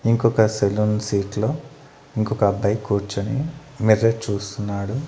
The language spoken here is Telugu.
ఇంకొక సెలూన్ సీట్లో ఇంకొక అబ్బాయి కూర్చొని మెసేజ్ చూస్తున్నాడు.